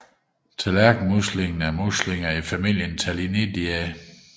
Tallerkenmuslinger er muslinger i familien Tellinidae